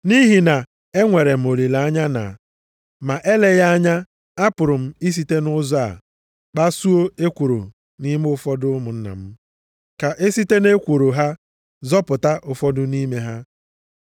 Nʼihi na enwere m olileanya na, ma eleghị anya, apụrụ m isite nʼụzọ a kpasuo ekworo nʼime ụfọdụ ụmụnna m, ka e site nʼekworo ha zọpụta ụfọdụ nʼime ha.